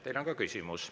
Teile on ka küsimus.